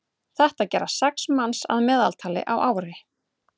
þetta gera sex manns að meðaltali á ári